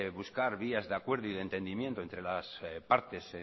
buscar vías de acuerdo y de entendimiento entre las partes